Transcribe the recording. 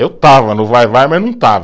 Eu estava no vai-vai, mas não estava.